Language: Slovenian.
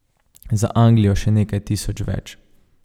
Za Anglijo še nekaj tisoč več.